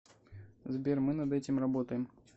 сбер мы над этим работаем